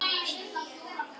En drykkju